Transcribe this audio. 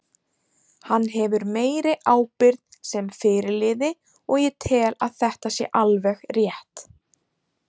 Hann hefur meiri ábyrgð sem fyrirliði og ég tel að þetta sé alveg rétt.